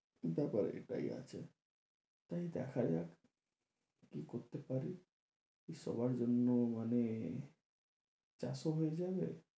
ব্যাপার এটাই আছে তাই দেখা যাক কি করতে পারি সবার জন্য মানে চারশো হয়ে যাবে।